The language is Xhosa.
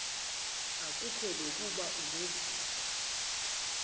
asikuko nokuba unevumba